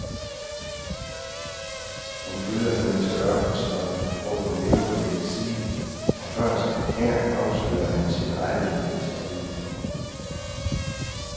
Han følger hende til ørkenslottet, hvor hun lever i eksil, og først her afslører han sin rette identitet.